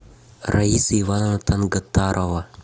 раиса ивановна тангатарова